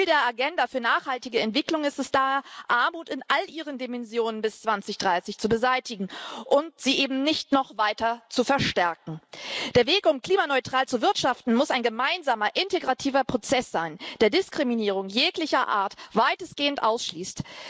Ziel der Agenda für nachhaltige Entwicklung ist es da, Armut in allen ihren Dimensionen bis 2030 zu beseitigen und sie eben nicht noch weiter zu verstärken. Der Weg, um klimaneutral zu wirtschaften, muss ein gemeinsamer integrativer Prozess sein, der Diskriminierung jeglicher Art weitestgehend ausschließt.